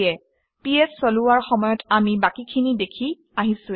PS চলোৱাৰ সময়ত আমি বাকীখিনি দেখি আহিছোঁৱেই